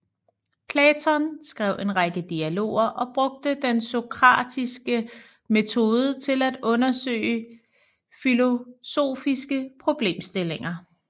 Platon skrev en række dialoger og brugte den sokratiske metode til at undersøge filosofiske problemstillinger